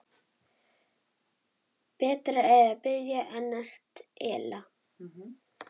Betra er að biðja en stela.